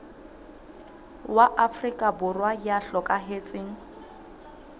wa afrika borwa ya hlokahetseng